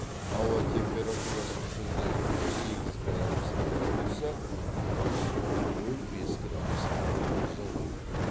ауа температурасы түнде үш сегіз градус аяз болса күндіз нөл бес градусқа жылынады